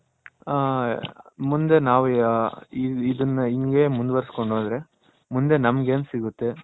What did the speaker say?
ಹ ಮುಂದೆ ನಾವ್ ಇದ್ದಾನ ಇಂಗೆ ಮುಂದ್ವರಸ್ ಕೊಂಡ್ ಹೋದ್ರೆ ನಮ್ಮಗ್ ಏನ್ ಸಿಗುತ್ತೆ